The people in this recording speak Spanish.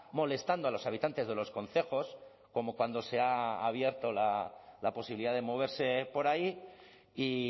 molestando a los habitantes de los concejos como cuando se ha abierto la posibilidad de moverse por ahí y